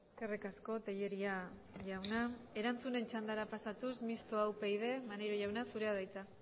eskerrik asko tellería jauna erantzunen txandara pasatuz mistoa upyd maneiro jauna zurea da hitza